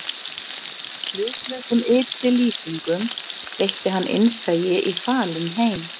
Með hlutlausum ytri lýsingum veitti hann innsæi í falinn heim